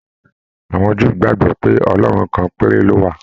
Àwọn Júù gbagbọ pe Ọlọrun kan péré ló wà.